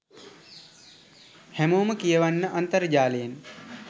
හැමෝම කියවන්න අන්තර්ජාලයෙන්